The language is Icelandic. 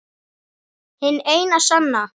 Hin eina sanna